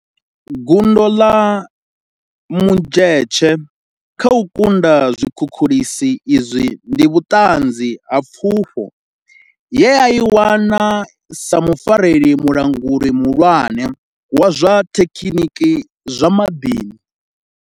Gundo ḽa Mdletshe kha u kunda zwikhukhulisi izwi ndi vhuṱanzi ha pfufho ye a i wana sa mufarela mulanguli muhulwane wa zwa thekiniki ya zwa maḓini.